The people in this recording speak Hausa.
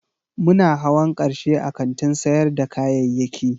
Muna hawan karshe a kantin sayar da kayayyaki